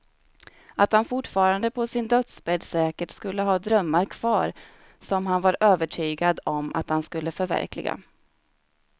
Att han fortfarande på sin dödsbädd säkert skulle ha drömmar kvar som han var övertygad om att han skulle förverkliga.